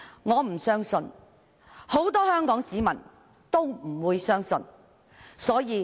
我和很多香港市民也無法相信。